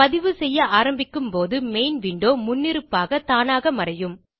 பதிவு செய்ய ஆரம்பிக்கும் போது மெயின் விண்டோ முன்னிருப்பாக தானாக மறையும்